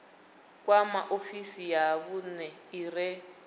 kwama ofisi ya vhune ire